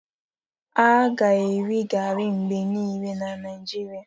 A ga-eri gari mgbe niile n'Naijiria.